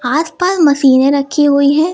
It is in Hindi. आसपास मशीनें रखी हुई है।